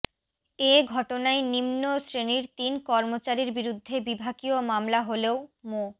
এ ঘটনায় নিম্ন শ্রেণির তিন কর্মচারীর বিরুদ্ধে বিভাগীয় মামলা হলেও মো